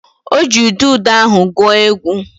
O ji udude ahụ gwuo egwu